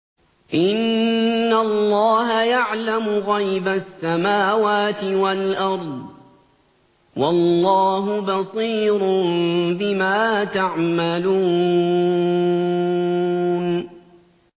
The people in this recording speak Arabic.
إِنَّ اللَّهَ يَعْلَمُ غَيْبَ السَّمَاوَاتِ وَالْأَرْضِ ۚ وَاللَّهُ بَصِيرٌ بِمَا تَعْمَلُونَ